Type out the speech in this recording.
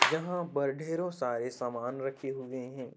यहां पर ढेरो सारे सामान रखे हुए हैं।